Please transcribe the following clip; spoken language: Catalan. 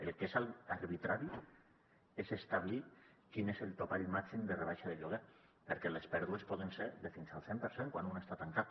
el que és arbitrari és establir quin és el topall màxim de rebaixa de lloguer perquè les pèrdues poden ser de fins al cent per cent quan un està tancat